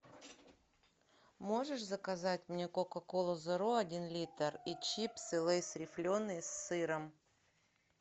можешь заказать мне кока колу зеро один литр и чипсы лейс рифленые с сыром